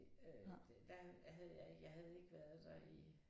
Det øh der havde jeg ikke jeg havde ikke været der i